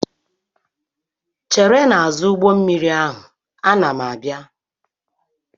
chere n'azụ ụgbọ mmiri ahụ, ana m abịa!